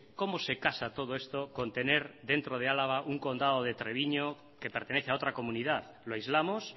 cómo se casa todo esto con tener dentro de álava un condado de treviño que pertenece a otra comunidad lo aislamos